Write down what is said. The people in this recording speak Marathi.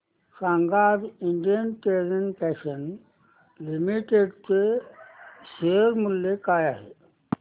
सांगा आज इंडियन टेरेन फॅशन्स लिमिटेड चे शेअर मूल्य काय आहे